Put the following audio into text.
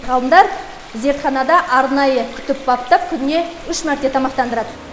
ғалымдар зертханада арнайы күтіп баптап күніне үш мәрте тамақтандырады